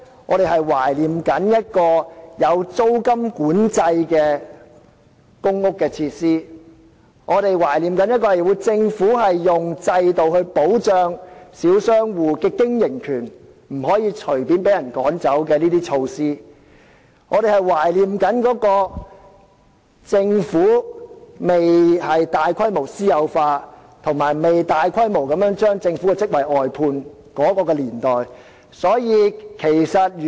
我們懷念的是有租金管制的公屋設施；我們懷念的是政府保障小商戶經營權的制度，令他們不會隨便被人趕走的措施；我們懷念的是公屋設施尚未大規模私有化，以及政府尚未大規模將其職位外判的年代。